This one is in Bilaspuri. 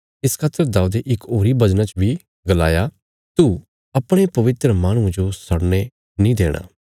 इस खातर दाऊदे इक होरी भजना च बी गलाया तू अपणे पवित्र माहणुये जो सड़ने नीं देणा